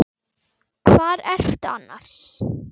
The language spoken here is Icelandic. Hvar ertu annars?